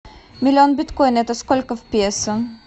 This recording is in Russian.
миллион биткоин это сколько в песо